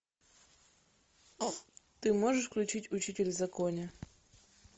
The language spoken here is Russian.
ты можешь включить учитель в законе